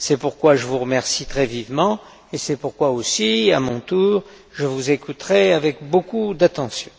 C'est pourquoi je vous remercie très vivement, et c'est pourquoi aussi, à mon tour, je vous écouterai avec beaucoup d'attention.